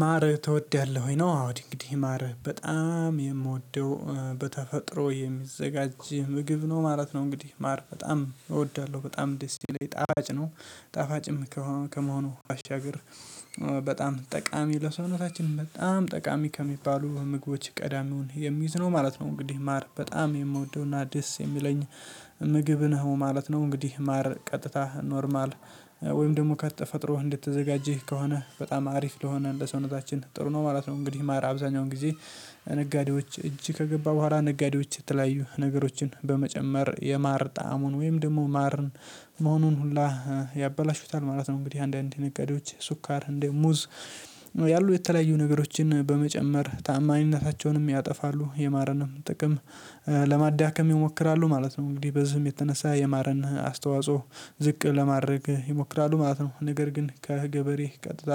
ማርህ ትወዳለህ ወይ? ነው አዎ እንግዲህ ማር በጣም የምወደው በተፈጥሮ የሚዘጋጅ ምግብ ነው ማለት ነው። እንግዲህ ማር በጣም እወዳለሁ በጣም ደስ ይለኝ ጣፋጭ ነው ጣፋጭም ከመሆኑ ባሻገር በጣም ጠቃሚ ለሰውነታችን በጣም ጠቃሚ ከሚባሉ ምግቦች ቀዳሚውን የሚይዝ ነው ማለት ነው። እንግዲህ ማር በጣም የምወደውና ደስ የሚለኝ ምግብ ነው ማለት ነው። እንግዲህ ማር ቀጥታ ኖርማል ወይም ደግሞ ከተፈጥሮ እንድትዘጋጄ ከሆነ በጣም አሪፍ ለሆነ ለሰውነታችን ጥሩ ነው ማለት ነው። እንግዲህ ማር አብዛኛውን ጊዜ ከነጋዴዎች እጅ ከገባ በኋላ ነጋዴዎች የተለያዩ ነገሮችን በመጨመር የማር ጣዕሙን ወይም ደግሞ ማርን መሆኑን ሁላ ያበላሹታል ማለት ነው። እንግዲህ አንዳንዴ ንገሪዎች ስኳር እንዲህ ሙዝ ያሉ የተለያዩ ነገሮችን በመጨመር ታማኝነታቸውንም ያጠፋሉ የማረንም ጥቅም ለማዳከም ይሞክራሉ ማለት ነው። እንግዲህ በዚህም የተነሳ የማርን አስተዋጽኦ ዝቅ ለማድረግ ይሞክራሉ ማለት ነው። ነገር ግን ከገበሬ ቀጥታ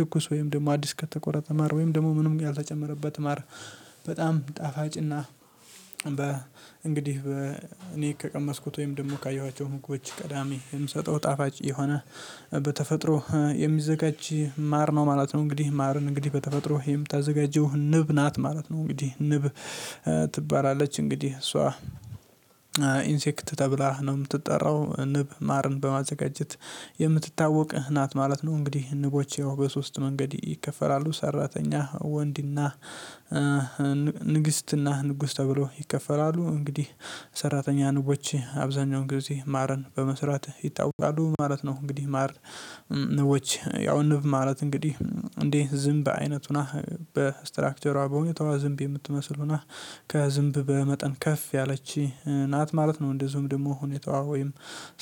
ትኩሱ ወይም ደግሞ አዲስ ከተቆረጠ ማር ወይም ደግሞ ምንም ያልተጨመረበት ማር በጣም ጣፋጭና በ እንግዲህ እኔ ከቀመስኩት ወይም ደግሞ ካየኋቸው ምግቦች ቀዳሚ የምሰጠው ጣፋጭ የሆነ በተፈጥሮ የሚዘጋጅ ማር ነው ማለት ነው። እንግዲህ ማርን እንግዲህ በተፈጥሮ የምታዘጋጀው ንብ ናት ማለት ነው እንግዲህ ንብ ትባላለች እንግዲህ እሷ ኢንሴክት ተብላህ ነው የምትጠራው ንብ ማርን በማዘጋጀት የምትታወቅ ናት ማለት ነው። እንግዲህ ንቦች ያው በሶስት መንገድ ይከፈላሉ ሰራተኛ ወንድና ንግስትና ንጉስ ተብሎ ይከፈላሉ እንግዲህ ሰራተኛ ንቦች አብዛኛውን ጊዜ ማርን በመስራት ይታወቃሉ ማለት ነው። እንግዲህ ማር ንቦች ያው ንብ ማለት እንግዲህ እንደ ዝንብ በአይነት ሁና በስትራክቸሯ በሁኔታው ዝምብ የምትመስል ሁና ከዝምብ በመጠን ከፍ ያለች ናት ማለት ነው። እንደዚሁም ደግሞ ሁኔታዋ ወይም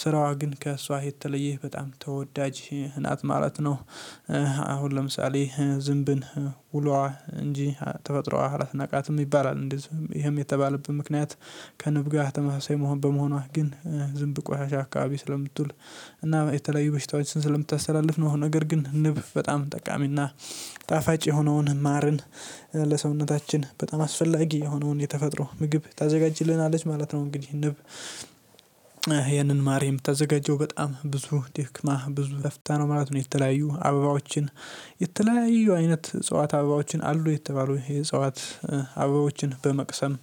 ስራዋ ግን ከእሷ የተለየህ በጣም ተወዳጅ ናት ማለት ነው። አሁን ለምሳሌ ዝንብን ውሏ እንጂ ተፈጥሮዋ አላስናቃትም ይባላል እንደዚህ ይሄም የተባለበት ምክንያት ከንብ ጋር ተመሳሳይ መሆን በመሆኗ ግን ዝንብ ቆሻሻ አካባቢ ስለምትውል እና የተለያዩ በሽታዎችን ስለምታስተላልፍ ነው። ነገር ግን ንብ በጣም ጠቃሚና ጣፋጭ የሆነውን ማርን ለሰውነታችን በጣም አስፈላጊ የሆነውን የተፈጠረው ምግብ ታዘጋጅልናለች ማለት ነው። እንግዲህ ንብ ይሄንን ማርም ተዘጋጀው በጣም ብዙ ደክማ ብዙ ገፍታ ነው ማለት ነው የተለያየ አበባዎችን የተለያየ አይነት ጸዋት አበባዎችን አሉ የተባሉ የጸዋት አበባዎችን በመቅሰም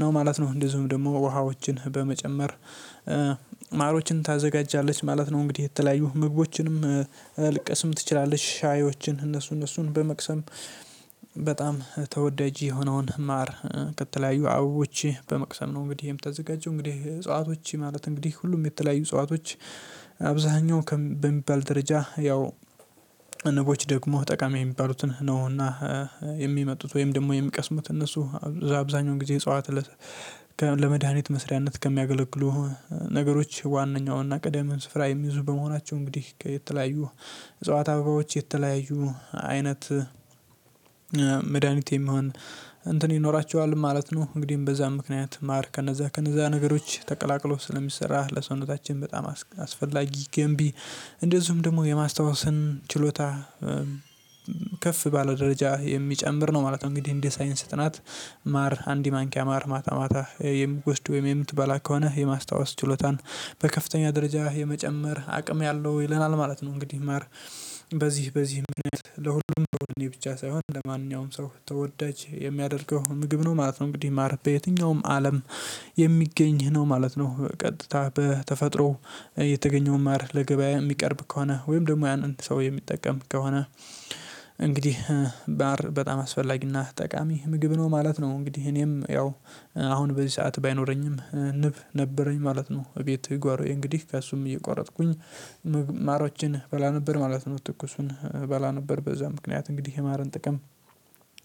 ነው ማለት ነው። እንደዚሁም ደግሞ ውሃዎችን በመጨመር ታዘጋጃለች ማለት ነው። እንግዲህ የተለያዩ ምግቦችንም ልቀስም ትችላለች ሻዮችን እነሱ እነሱን በመቅሰም በጣም ተወዳጅ የሆነውን ማር ከተለያዩ አበቦች በመቅሰም ነው። እንግዲህ ይሄም ተዘጋጀው እንግዲህ እጽዋቶች ማለት እንግዲህ ሁሉም የተለያዩ እጽዋቶች አብዛኛው በሚባል ደረጃ ያው ንቦች ደግሞ ጠቃሚ የሚባሉትን ነውና የሚመጡት ወይም ደግሞ የሚቀስሙት እነሱ አብዛኛውን ጊዜ እጽዋት ለመድሃኒት መስሪያነት ከሚያገለግሉ ነገሮች ዋናውና ቅደም ስፍራ የሚይዙ በመሆናቸው እንግዲህ የተለያዩ እጽዋት አበባዎች የተለያዩ አይነት መድሃኒት የሚሆን እንትን ይኖራቸዋል ማለት ነው። እንግዲህ በዛ ምክንያት ማር ከነዛ ከነዛ ነገሮች ተቀላቅሎ ስለሚሰራ ለሰውነታችን በጣም አስፈላጊ ገንቢ እንደዚሁም ደግሞ የማስታወስን ችሎታ ከፍ ባለ ደረጃ የሚጨምር ነው ማለት ነው። እንግዲህ እንደ ሳይንስ ጥናት ማር አንድ ማንኪያ ማር ማታ ማታ የምትወስድ ወይም የምትበላ ከሆነ የማስታወስ ችሎታን በከፍተኛ ደረጃ የመጨመር አቅም ያለው ይለናል ማለት ነው። እንግዲህ ማር በዚህ በዚህ ምክንያት ለሁሉም በሁሉም ብቻ ሳይሆን ለማንኛውም ሰው ተወዳጅ የሚያደርገው ምግብ ነው ማለት ነው እንግዲህ ማረፍ በየትኛውም አለም የሚገኝ ነው ማለት ነው። ቀጥታ በተፈጥሮ የተገኘው ማር ለገበያ የሚቀርብ ከሆነ ወይም ደግሞ ያንን ሰው የሚጠቀም ከሆነ እንግዲህ ማር በጣም አስፈላጊና ጠቃሚ ምግብ ነው ማለት ነው። እንግዲህ እኔም ያው አሁን በዚህ ሰዓት ባይኖረኝም ንብ ነበረኝ ማለት ነው እቤቴ ጓሮዬ እንግዲህ ከእሱም እየቋረጥኩኝ ማሮችን እበላ ነበር ማለት ነው። ትኩሱን እበላ ነበር በዛ ምክንያት እንግዲህ የማርን ጥቅም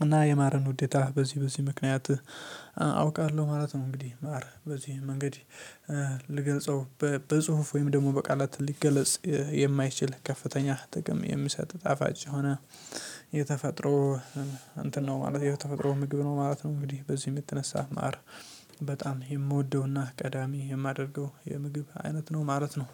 እና የማርን ውዴታ በዚህ በዚህ ምክንያት አውቃለሁ ማለት ነው። እንግዲህ ማር በዚህ መንገድ ልገልፀው በጽሁፍ ወይም ደግሞ በቃላት ሊገለጽ የማይችል ከፍተኛ ጥቅም የሚሰጥ ጣፋጭ የሆነ የተፈጥሮ እንትን ነው ማለት የተፈጥሮ ምግብ ነው ማለት ነው። እንግዲህ በዚህ የምትነሳ ማር በጣም የምወደውና ቀዳሚ የማደርገው የምግብ አይነት ነው ማለት ነው።